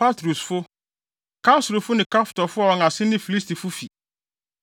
Patrusfo, Kasluhfo ne Kaftorfo a wɔn ase na Filistifo fi.